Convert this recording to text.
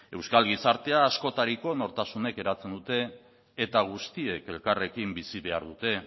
euskal gizartea askotariko nortasunek eratzen dute eta guztiek elkarrekin bizi behar dute